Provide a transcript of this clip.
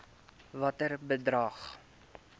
watter bedrag